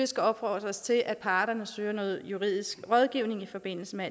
skal opfordres til at parterne søger noget juridisk rådgivning i forbindelse med